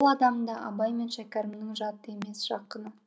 ол адам да абай мен шәкәрімнің жаты емес жақыны